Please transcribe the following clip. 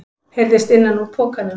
heyrðist innan úr pokanum.